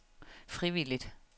frivilligt